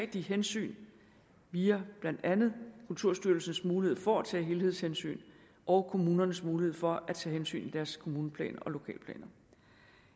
de hensyn via blandt andet kulturstyrelsens mulighed for at tage helhedshensyn og kommunernes mulighed for at tage hensyn i deres kommuneplan og lokalplaner